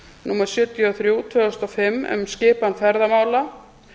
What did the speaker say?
númer sjötíu og þrjú tvö þúsund og fimm um skipan ferðamála